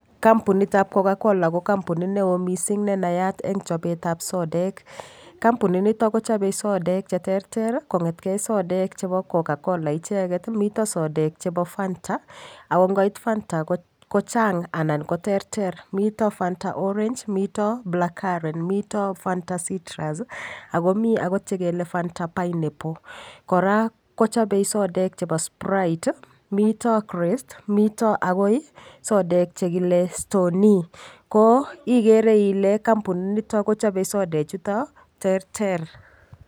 Kampunitab coca-cola ko kampunit neo mising' nenayat eng' chobetab sodek kampunito kochobei sodek cheterter kong'etgei sodek chebo coca-cola icheget mito sodek chebo Fanta ako ngoit Fanta kochang' anan koterter mito Fanta orange mito blackcurrant mito Fanta citrus akomi akot chekele Fanta pineapple kora kochobei sodek chebo sprite mito krest mito akoi sodek chekile stoney ko igere ile kampunito kochobei sodechuto terter